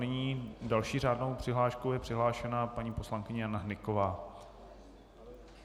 Nyní další řádnou přihláškou je přihlášena paní poslankyně Jana Hnyková.